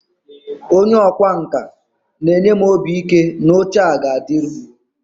onye ọkwá nkà na-enye m obi ike na oche a ga-adịru